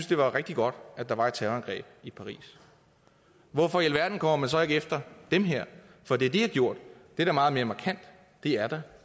det var rigtig godt at der var et terrorangreb i paris hvorfor i alverden kommer man så ikke efter dem her for det de har gjort det er da meget mere markant det er da